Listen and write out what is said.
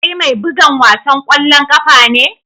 Kai mai bugan wasan kwallon kafa ne?